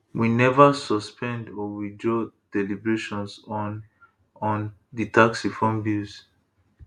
we neva suspend or withdraw deliberations on on di tax reform bills